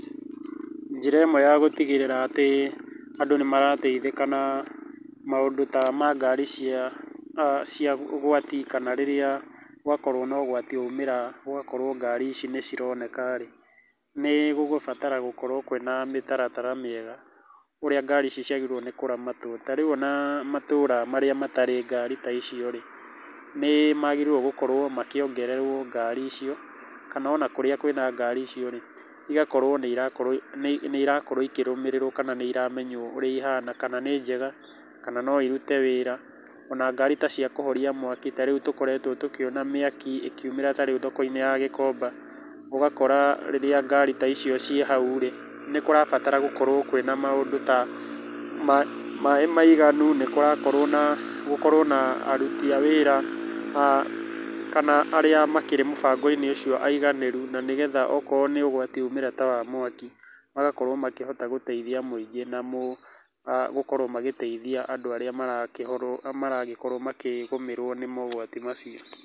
Njĩra ĩmwe ya gũtigĩrĩra atĩ andũ nĩ marateithĩka na maũndũ ta ma ngari cia ũgwati kana rĩrĩa gwakorũo na ũgwati woimĩra gũgakorũo ngari ici nĩ cironeka rĩ, nĩ gũgũbatara gũkorũo kwĩna mĩtaratara mĩega ũrĩa ngari ici ciagĩrĩirũo nĩ kũramatwo. Ta rĩu ona matũra marĩa matarĩ ngari ta icio rĩ, nĩ magĩrĩirũo gũkorũo makĩongererwo ngari icio, kana ona kũrĩa kwĩna ngari icio rĩ, igakorũo nĩ irakorũo ikĩrũmĩrĩrwo kana nĩ iramenywo ũrĩa ihana kana nĩ njega, kana no irute wĩra, ona ngari ta cia kũhoria mwaki ta rĩu tũkoretwo tũkĩona mĩaki ĩkiumĩra ta rĩu thoko-inĩ ya Gĩkomba. Ũgakora rĩrĩa ngari ta icio ciĩ hau rĩ, nĩ kũrabatara gũkorũo kwĩna maũndũ ta maĩ maiganu, nĩ kũrakorũo na gũkorũo na aruti a wĩra kana arĩa makĩrĩ mũbango-inĩ ũcio aiganĩru na nĩgetha okorũo nĩ ũgwati woimĩra ta wa mwaki, magakorũo makĩhota gũteithia mũingĩ namũ gũkorũo magĩteithia andũ arĩa maragĩkorũo makĩgũmĩrwo nĩ mogwati macio.